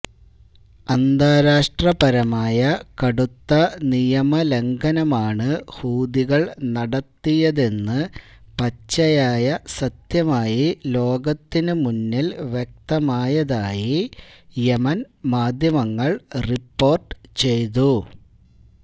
അന്താരാഷ്ട്രപരമായ കടുത്ത നിയമലംഘനമാണ് ഹൂതികള് നടത്തിയതെന്ന് പച്ചയായ സത്യമായി ലോകത്തിനു മുന്നില് വ്യക്തമായതായി യമന് മാധ്യമങ്ങള് റിപ്പോര്ട്ട് ചെയ്തു